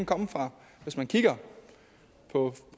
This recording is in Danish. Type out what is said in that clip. komme fra hvis man kigger på